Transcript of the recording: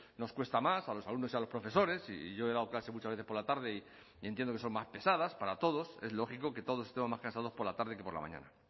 nos cuesta más a los alumnos y a los profesores y yo he dado clase muchas veces por la tarde y entiendo que son más pesadas para todos es lógico que todos estemos más cansados por la tarde que por la mañana